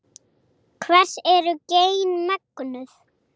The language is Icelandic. Hvers eru gen megnug?